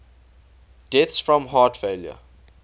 deaths from heart failure